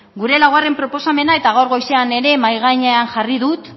gure laugarren proposamena eta gaur goizean ere mahai gainean jarri dut